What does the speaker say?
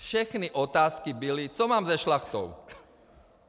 Všechny otázky byly, co mám se Šlachtou.